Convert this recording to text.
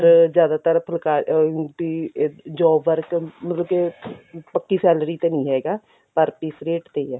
ਜ਼ਿਆਦਾਤਰ ਫੁੱਲਕਾਰੀ ਉਹੀ ਬੁੱਟੀਆ job work ਮਤਲਬ ਕੇ ਪੱਕੀ salary ਤੇ ਨੀਂ ਹੈਗਾ per piece rate ਤੇ ਹੀ ਆ